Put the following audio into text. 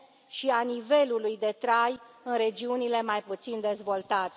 și a nivelului de trai în regiunile mai puțin dezvoltate.